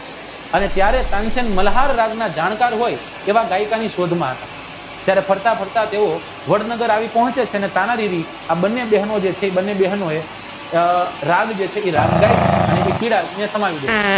અને ત્યારે તાનસેન મલ્હાર જાણકાર હોય એવા ગાયકોની શોધમાં હતા ત્યારે ફરતા ફરતા તેઓ વડનગર આવી પહોંચે છે ને તાનાજી આ બને બહેનો રાજદાયી